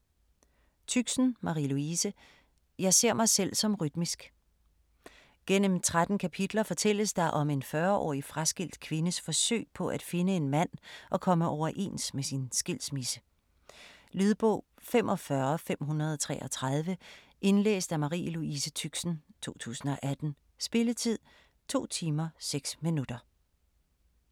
Tüxen, Marie Louise: Jeg ser mig selv som rytmisk Gennem 13 kapitler fortælles der om en 40-årig fraskilt kvindes forsøg på at finde en mand og komme overens med sin skilsmisse. Lydbog 45533 Indlæst af Marie Louise Tüxen, 2018. Spilletid: 2 timer, 6 minutter.